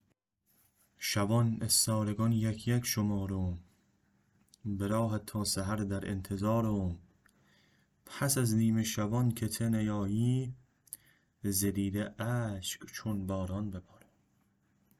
شوان استارگان یک یک شمارم به راهت تا سحر در انتظارم پس از نیمه شوان که ته نیایی ز دیده اشک چون باران ببارم